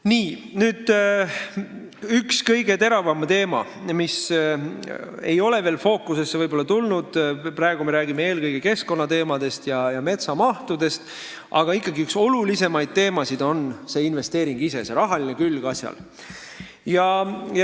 Nii, üks kõige teravamaid teemasid, mis ei ole veel võib-olla fookusesse tulnud – praegu me räägime eelkõige keskkonnateemadest ja raiemahtudest –, aga ikkagi üks olulisemaid teemasid on see investeering ise, selle asja rahaline külg.